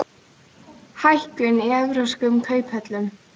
Hækkun í evrópskum kauphöllum